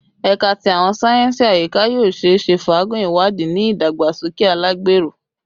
Ẹka ti Awọn sáyẹnsì Ayika yoo ṣeese faagun iwadii ni idagbasoke alagbero